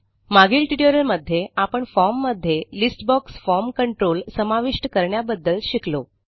मागील ट्युटोरियलमध्ये आपण फॉर्म मध्ये लिस्ट बॉक्स फॉर्म कंट्रोल समाविष्ट करण्याबद्दल शिकलो